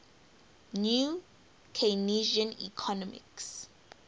new keynesian economics